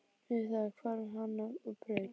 Með það hvarf hann á braut.